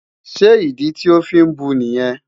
Ṣé ìdí tí o fí ń bu nìyẹn?